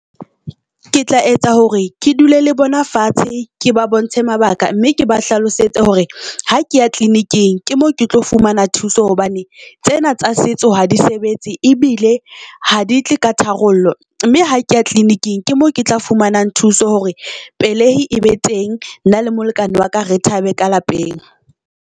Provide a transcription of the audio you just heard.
Ke tla etsa hore ke dule le bona fatshe, ke ba bontshe mabaka mme ke ba hlalosetse hore ha ke ya clinic-eng, ke mo ke tlo fumana thuso. Hobane tsena tsa setso ha di sebetse ebile ha di tle ka tharollo mme ha ke ya clinic-eng ke mo ke tla fumanang thuso hore pelei e be teng. Nna le molekane wa ka re thabe ka lapeng.